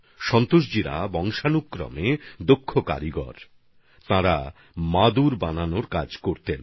সন্তোষজির পূর্বপুরুষরা অসাধারণ কারিগর ছিলেন তারা মাদুর তৈরির কাজ করতেন